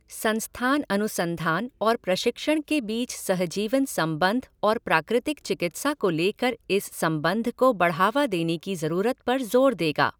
संस्थान अनुसंधान और प्रशिक्षण के बीच सहजीवन संबंध और प्राकृतिक चिकित्सा को लेकर इस संबंध को बढ़ावा देने की जरूरत पर जोर देगा।